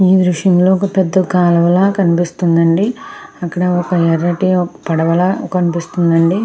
ఈ దృశ్యం లో ఒక పెద్ధ కాలవల కనిపిస్తుంది అండి అక్కడ ఒక ఎర్రటి పడవల కనిపిస్తుంది అండి.